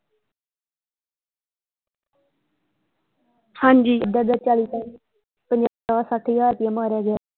ਹਾਂਜੀ ਐਦਾਂ ਐਦਾਂ ਚਾਲੀ ਚਾਲੀ ਪੰਜਾਹ ਸੱਠ ਹਜ਼ਾਰ ਰੁਪਈਆ ਮਾਰਿਆ ਗਿਆ।